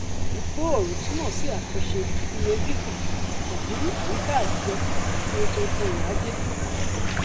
ìmúgbòòrò túmọ sí àtúnṣe iye gígùn pẹlú àyíká àwùjọ àti ètò òrò ajé